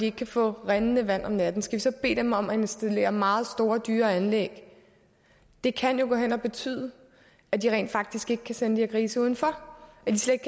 ikke kan få rindende vand om natten skal vi så bede dem om at installere meget store og dyre anlæg det kan jo gå hen og betyde at de rent faktisk ikke kan sende de her grise udenfor at de slet